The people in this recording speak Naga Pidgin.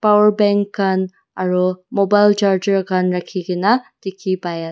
Power bank khan aro mobile charger khan rakhikena dekhe pai a--